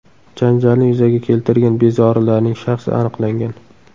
Janjalni yuzaga keltirgan bezorilarning shaxsi aniqlangan.